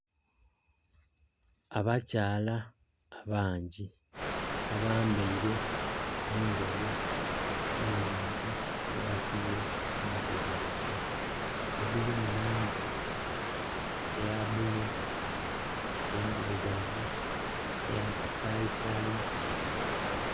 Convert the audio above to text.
Abakyala abangi abambeire engoye ne bintu bye basibye ku mitwe gyabwe, edhili mu langi eya bululu, endhirugavu, eya kasayisayi.